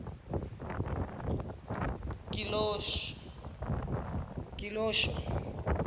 gilosho